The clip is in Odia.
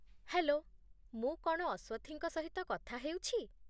ହେଲୋ, ମୁଁ କ'ଣ ଅସ୍ୱଥିଙ୍କ ସହିତ କଥା ହେଉଛି?